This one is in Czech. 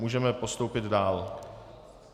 Můžeme postoupit dál.